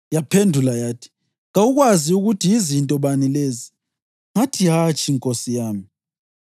Yaphendula yathi, “Kawukwazi ukuthi yizinto bani lezi?” Ngathi, “Hatshi, nkosi yami.”